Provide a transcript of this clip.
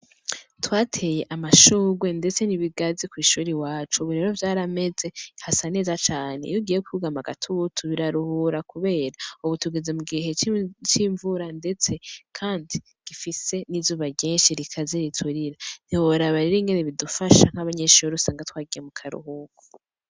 Twateye amashurwe ndetse n'ibigazi kw'ishure iwacu, ubu rero vyarameze hasa neza cane iyo ugiye kwugama agatutu biraruhura kubera ubu tugeze mu gihe c'invura ndetse kandi gifise n'izuba ryinshi rikaze riturira, ntiworaba rero ingene bidufasha nk'abanyeshure usanga twagiye mu karuhuko.